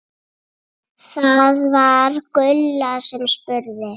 Það var Gulla sem spurði.